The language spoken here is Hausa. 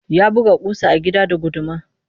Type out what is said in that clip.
Ya buga ƙusa a bango da guduma